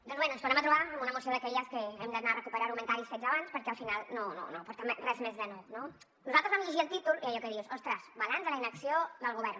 doncs bé ens tornem a trobar amb una moció d’aquelles en què hem d’anar a recuperar argumentaris fets abans perquè al final no aporta res més de nou no nosaltres vam llegir el títol i allò que dius ostres balanç de la inacció del govern